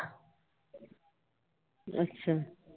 ਅੱਛਾ।